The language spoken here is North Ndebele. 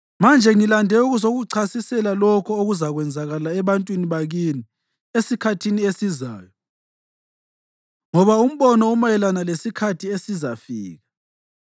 Manje ngilande ukuzakuchasisela lokho okuzakwenzakala ebantwini bakini esikhathini esizayo, ngoba umbono umayelana lesikhathi esizafika.”